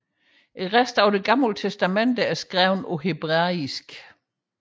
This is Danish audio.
Resten af Det Gamle Testamente er skrevet på hebraisk